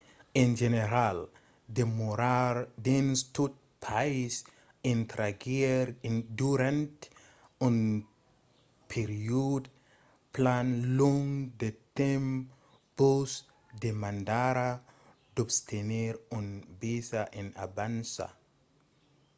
en general demorar dins tot país estrangièr durant un periòde plan long de temps vos demandarà d’obtenir un visa en avança